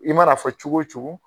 I mana a fɔ cogo o cogo